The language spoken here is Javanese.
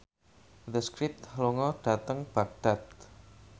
The Script lunga dhateng Baghdad